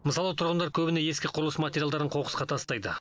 мысалы тұрғындар көбіне ескі құрылыс материалдарын қоқысқа тастайды